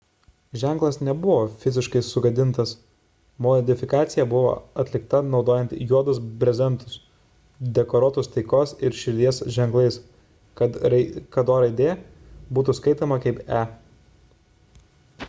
ženklas nebuvo fiziškai sugadintas modifikacija buvo atlikta naudojant juodus brezentus dekoruotus taikos ir širdies ženklais kad o raidė būtų skaitoma kaip e